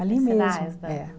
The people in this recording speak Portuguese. Ali mesmo. É